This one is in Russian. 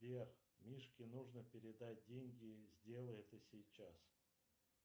сбер мишке нужно передать деньги сделай это сейчас